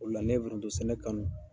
O de la ne ye forontosɛnɛ kanu.